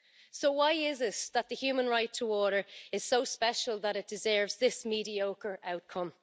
So why is it that the human right to water is so special that it deserves this mediocre outcome?